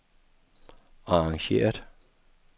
arrangeret